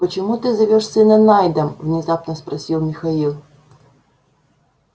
почему ты зовёшь сына найдом внезапно спросил михаил